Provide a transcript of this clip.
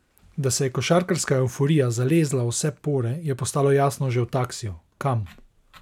Da se je košarkarska evforija zalezla v vse pore, je postalo jasno že v taksiju: "Kam?